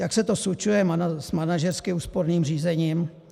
Jak se to slučuje s manažersky úsporným řízením?